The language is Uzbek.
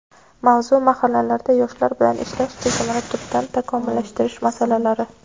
Mavzu: Mahallalarda yoshlar bilan ishlash tizimini tubdan takomillashtirish masalalari.